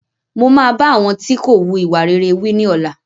Mo má bá àwọn tí kò wù ìwà rere wí ní ọ̀la